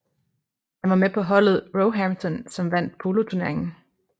Han var med på holdet Roehampton som vandt poloturneringen